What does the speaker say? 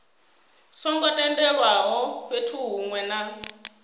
songo tendelwaho fhethu hunwe na